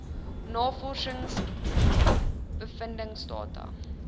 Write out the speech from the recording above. navorsings bevindings data